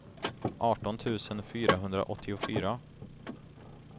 arton tusen fyrahundraåttiofyra